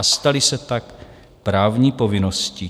- a staly se tak právní povinností.